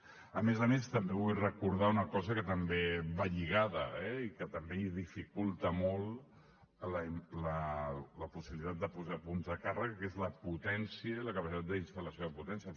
a més a més també vull recordar una cosa que també hi va lligada eh i que també dificulta molt la possibilitat de posar punts de càrrega que és la potència i la capacitat de instal·lació de potència